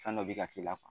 Fɛn dɔ bi ka k'i la